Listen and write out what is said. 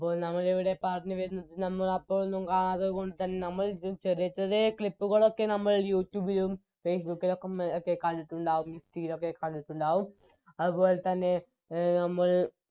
നമ്മളപ്പോളൊന്നും കാണാതെ ചെറിയ ചെറിയ Clip കൾ ഒക്കെ നമ്മൾ Youtube ലും Facebook ലോക്കെ മ്മള് പക്ഷേ കണ്ടിറ്റുണ്ടാവാരിക്കും ലോക്കെ കണ്ടിറ്റുണ്ടാവും അത് പോലെ തന്നെ